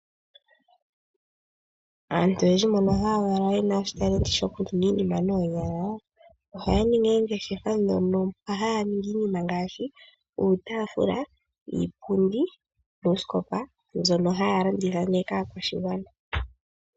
Aantu oyendji mbono haya valwa yena uunongo woku ndulukapo iinima noonyalaa ohaa eta po oongeshefa mpa haa ndulukilepo iinima ngaashi iitaafula, iipundi nosikopa mbyono hayi landithwapo kaa kwashigwana.